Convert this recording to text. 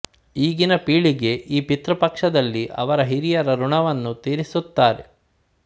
ಈಗಿನ ಪೀಳಿಗೆ ಈ ಪಿತೃಪಕ್ಷದಲ್ಲಿ ಅವರ ಹಿರಿಯರ ಋಣವನ್ನು ತೀರಿಸುತ್ತಾರೆ